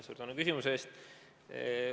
Suur tänu küsimuse eest!